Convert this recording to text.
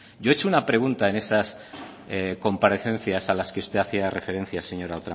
yo he hecho una pregunta en esas comparecencias a las que usted hacía referencia señora